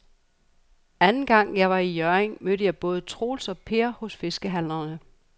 Anden gang jeg var i Hjørring, mødte jeg både Troels og Per hos fiskehandlerne.